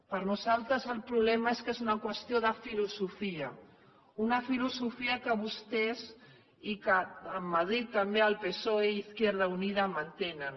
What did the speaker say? per nosaltres el problema és que és una qüestió de filosofia una filosofia que vostès i que a madrid també el psoe i izquierda unida mantenen